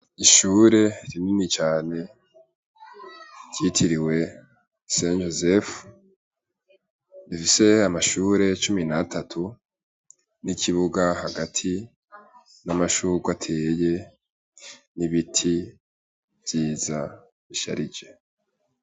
Ishure rinini cane ryitiriwe umweranda Yozefu, rifise amashure cumi n'atatu n'ikibuga hagati n'amashugwe ateye n'ibiti vyiza bisharije.